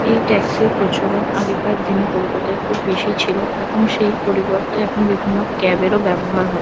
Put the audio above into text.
এই ট্যাক্সি -র প্রচলন আগেকার দিনে কলকাতায় খুব বেশিই ছিল। এখন সেই পরিবর্তে এখন বিভিন্ন ক্যাব -এরও ব্যবহার হয়।